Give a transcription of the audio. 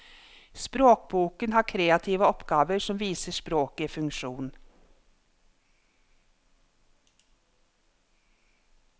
Språkboken har kreative oppgaver som viser språket i funksjon.